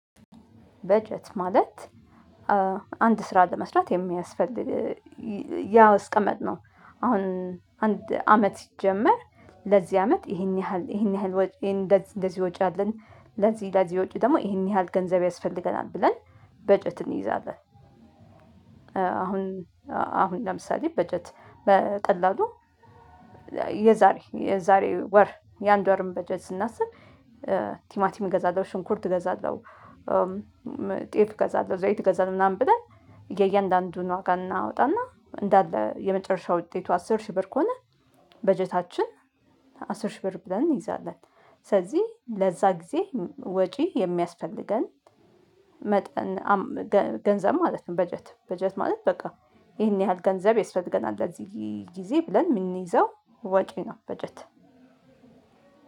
በጀት ማለት አንድ ስራ ለመስራት የሚያስፈልግ ያስቀመጥነው አሁን አንድ አመት ይጀመር ለዚህ አመት ይሄን ያህል ይሄን ያህል ወጪ ይሄን እንደዚህ እንደዚህ ወጪ አለን ለዚህ ለዚህ ወጪ ደግሞ ይሄን ያህል ገንዘብ ያስፈልገናል ብለን በጀት እንይዛለን። አሁን አሁን ለምሳሌ በጀት በቀላሉ የዛሬ የዛሬ ወር የአንድ ወርን በጀት ስናስብ ቲማቲም እገዛለሁ ሽንኩርት እገዛለሁ። ጤፍ እገዛለሁ ዘይት እገዛለሁ ምናምን ብለን የእያንዳንዱን ዋጋ እናወጣና እንዳለ የመጨረሻው ውጤቱ አስር ሺህ ብር ከሆነ በጀታችን አስር ሺህ ብር ብለን እንይዛለን። ስለዚህ ለዛ ጊዜ ወጪ የሚያስፈልገን መጠን ገንዘብ ማለት ነው። በጀት በጀት ማለት በቃ ይሄን ያህል ገንዘብ የስፈልገናል ለዚህ ጊዜ ብለን የምንይዘው ወጪ ነው። በጀት